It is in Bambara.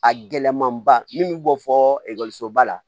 A gɛlɛmanba min bɛ bɔ fɔɔ ekɔliso ba la